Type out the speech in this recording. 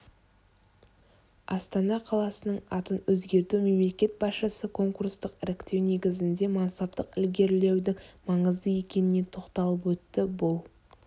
астана қаласының атын өзгерту мемлекет басшысы конкурстық іріктеу негізінде мансаптық ілгерілеудің маңызды екеніне тоқталып өтті бұл